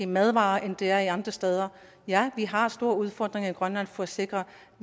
madvarer end det er andre steder ja vi har store udfordringer i grønland for at sikre